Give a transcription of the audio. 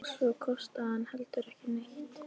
Og svo kostaði hann heldur ekki neitt!